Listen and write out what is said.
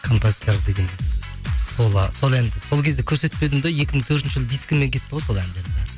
композитор дегенде сол әнді сол кезде көрсетпедім де екі мың төртінші жылы дискімен кетті ғой сол әндердің бәрі